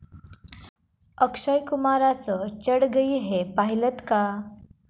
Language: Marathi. अक्षय कुमारचं 'चढ गयी है' पाहिलंत का?